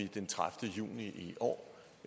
den tredivete juni i år